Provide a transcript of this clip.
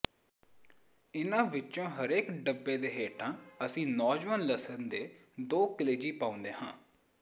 ਇਹਨਾਂ ਵਿੱਚੋਂ ਹਰੇਕ ਡੱਬੇ ਦੇ ਹੇਠਾਂ ਅਸੀਂ ਨੌਜਵਾਨ ਲਸਣ ਦੇ ਦੋ ਕਲੇਜੀ ਪਾਉਂਦੇ ਹਾਂ